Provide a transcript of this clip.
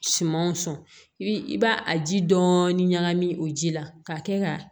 Sumanw sɔn i b'a a ji dɔɔnin ɲagami o ji la ka kɛ ka